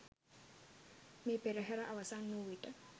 මේ පෙරහර අවසන් වූ විට